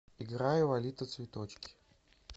играй лолита цветочки